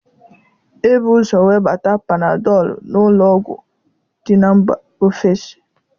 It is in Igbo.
Ebu ụzọ webata Panadọlụ n'ụlọọgwụ dị na mba ofesi